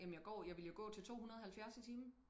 Jamen jeg går jeg ville jo gå til 270 i timen